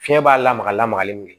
Fiɲɛ b'a lamaga lamagali min kɛ